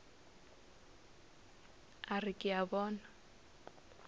a re ke a bona